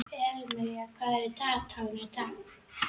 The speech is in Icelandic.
Elímar, hvað er á dagatalinu í dag?